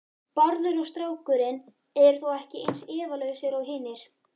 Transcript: Bárður og strákurinn eru þó ekki eins efalausir og hinir.